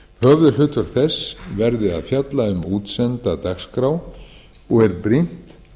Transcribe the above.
höfuðhlutverk þess verði að fjalla um útsenda dagskrá og er brýnt